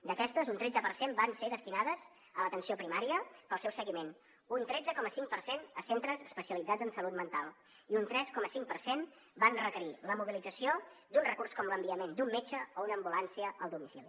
d’aquestes un tretze per cent van ser destinades a l’atenció primària per al seu seguiment un tretze coma cinc per cent a centres especialitzats en salut mental i un tres coma cinc per cent van requerir la mobilització d’un recurs com l’enviament d’un metge o una ambulància al domicili